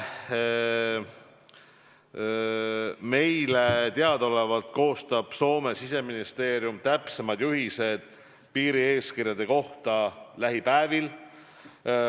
Meile teadaolevalt koostab Soome siseministeerium täpsemad juhised piirieeskirjade kohta lähipäevil.